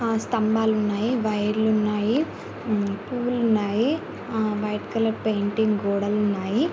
ఆ స్తంభాలు ఉన్నాయి వైర్ లు ఉన్నాయి పువ్వులు ఉన్నాయి ఆ వైట్ కలర్ పెయింటింగ్ గోడలు ఉన్నాయి.